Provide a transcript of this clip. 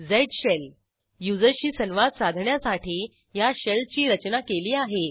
झ शेल युजरशी संवाद साधण्यासाठी ह्या शेल ची रचना केली आहे